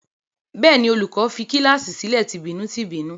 Bẹ́ẹ̀ ni, olùkọ́ní fi kíláàsì sílẹ̀ tìbínú-tìbínú.